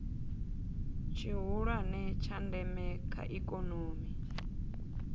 tshihulwane tsha ndeme kha ikomoni